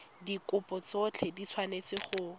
dikopo tsotlhe di tshwanetse go